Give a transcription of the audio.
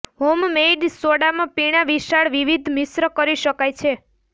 homemade સોડામાં પીણાં વિશાળ વિવિધ મિશ્ર કરી શકાય છે